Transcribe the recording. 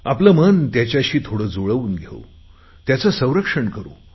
आपले मन त्याच्याशी थोडे जुळवून घेऊन त्याचे संरक्षण करु